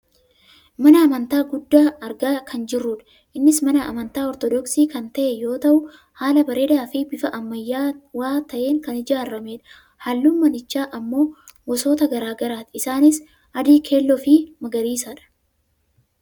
Mana amantaa guddaa argaaa kan jirrudha. Innis mana amantaa Ortodoksii kan ta'e yoo ta'u haala bareedaafi bifa ammayyaawaa ta'een kan ijaarramedha. Halluun manichaa ammoo gosoota gara garaati , isaanis adii, keelloo fi magariisadha.